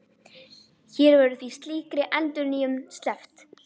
Hér verður því slíkri endurnýjun sleppt.